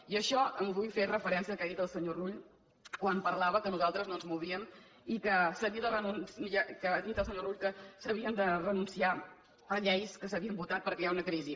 i en això vull fer referència al que ha dit el senyor rull quan parlava que nosaltres no ens movíem i ha dit el senyor rull que s’havia de renunciar a lleis que s’havien votat perquè hi ha una crisi